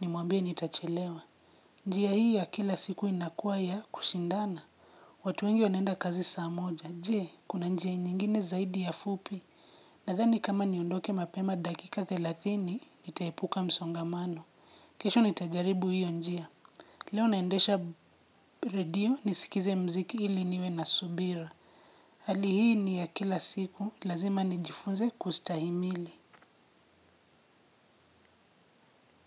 nimuambia nitachelewa. Njia hii ya kila siku inakuwa ya kushindana. Watu wengi waneenda kazi saa moja, jee, kuna njia nyengine zaidi ya fupi. Nadhani kama niondoke mapema dakika thelathini, nitaepuka msongamano. Kesho nitajaribu hiyo njia. Leo naendesha radio, nisikize mziki ili niwe na subira. Hali hii ni ya kila siku lazima nijifunze kustahimili.